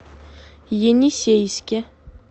енисейске